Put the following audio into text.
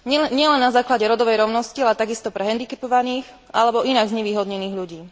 Nielen na základe rodovej rovnosti, ale takisto pre hendikepovaných alebo inak znevýhodnených ľudí.